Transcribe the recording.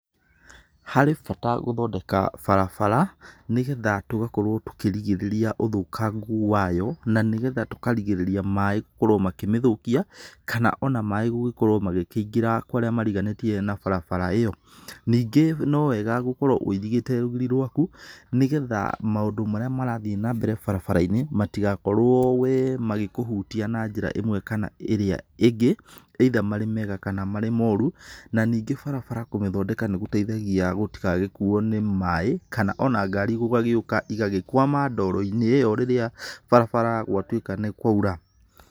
Harĩ bata gũthondeka barabara nĩgetha tũgakorwo tũkĩrigĩrĩria ũthũkangu wayo na nĩgetha tũkarigĩrĩria maĩ gũkorwo makĩmĩthũkia kana ona maĩ gũkorwo magĩkĩingĩra kwa arĩa mariganĩtie na barabara ĩyo, ningĩ no wega gũkorwo wũirigĩte rũgiri rwaku nĩgetha maũndũ marĩa marathiĩ na mbere barabara-inĩ matigakorwo we magĩkuhutia na njĩra ĩmwe kana ĩrĩa ĩngĩ either marĩ mega kana marĩ moru na ningĩ barabara kũmĩthondeka nĩ gũteithagia gũtigagĩkuo nĩ maĩ kana ona ngari gũgagĩũka igagĩkwama ndoro-inĩ ĩyo rĩrĩa barabara gwatuĩka nĩ kwaura.